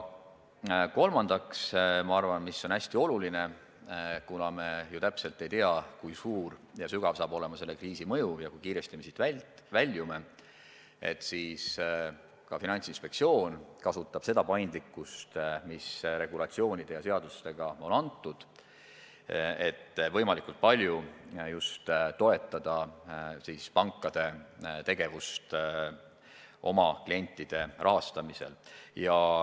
Samuti ma arvan, et kuna me ju täpselt ei tea, kui suur ja sügav saab olema selle kriisi mõju ja kui kiiresti me siit väljume, siis on oluline, et ka Finantsinspektsioon kasutab seda paindlikkust, mis seaduste ja muude regulatsioonidega on talle antud, et võimalikult palju toetada pankade tegevust oma klientide rahastamisel.